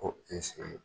Ko